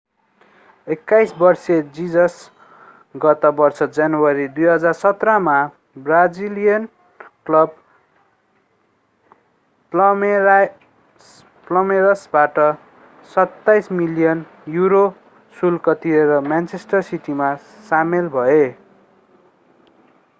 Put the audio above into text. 21 वर्षीय जिसस गत वर्ष जनवरी 2017 मा ब्राजिलियन क्लब पाल्मेइरासबाट £27 मिलियन शुल्क तिरेर म्यानचेस्टर सिटीमा सामेल भए